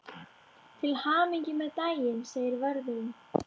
Til hamingju með daginn segir vörðurinn.